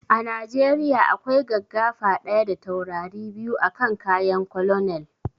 A najeriya akwai gaggafa ɗaya da taurari biyu a kan kayan colonel